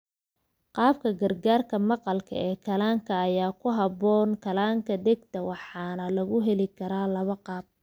Qalabka gargaarka maqalka ee kanaalka ayaa ku habboon kanaalka dhegta waxaana lagu heli karaa laba qaab.